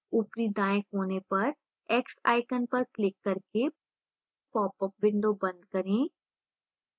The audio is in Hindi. ऊपरी दाएँ कोने पर x icon पर क्लिक करके popअप window बंद करें